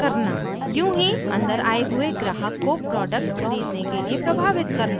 यूँ ही अंदर आये हुए ग्राहक को प्रोडक्टउत्पाद खरीदने के लिए प्रभावित करना